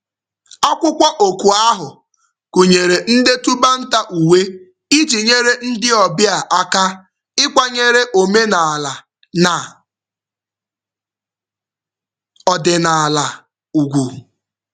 Akwụkwọ oku ahụ gụnyere ndetu banter uwe iji nyere ndị obịa aka ịkwanyere omenaala na ọdịnaala ugwu.